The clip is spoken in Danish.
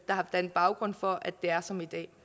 har dannet baggrund for at det er som i dag